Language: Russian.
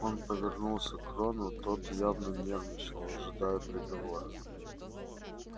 он повернулся к рону тот явно нервничал ожидая приговора